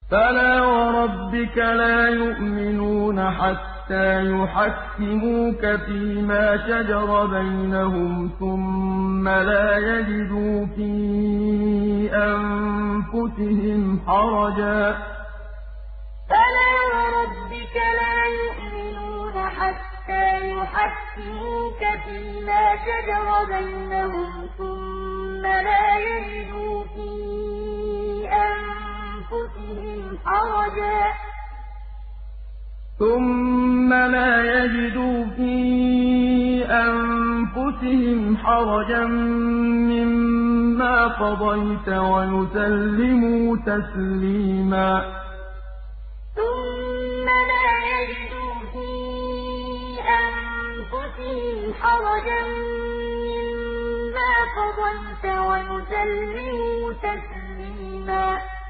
فَلَا وَرَبِّكَ لَا يُؤْمِنُونَ حَتَّىٰ يُحَكِّمُوكَ فِيمَا شَجَرَ بَيْنَهُمْ ثُمَّ لَا يَجِدُوا فِي أَنفُسِهِمْ حَرَجًا مِّمَّا قَضَيْتَ وَيُسَلِّمُوا تَسْلِيمًا فَلَا وَرَبِّكَ لَا يُؤْمِنُونَ حَتَّىٰ يُحَكِّمُوكَ فِيمَا شَجَرَ بَيْنَهُمْ ثُمَّ لَا يَجِدُوا فِي أَنفُسِهِمْ حَرَجًا مِّمَّا قَضَيْتَ وَيُسَلِّمُوا تَسْلِيمًا